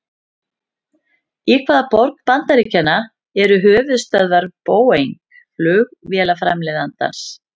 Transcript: Í hvaða borg bandaríkjanna eru höfuðstöðvar Boeing flugvélaframleiðandans?